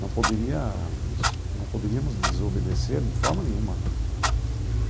Não poderíamos não poderíamos desobedecer de forma nenhuma né.